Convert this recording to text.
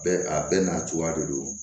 Bɛɛ a bɛɛ n'a cogoya de don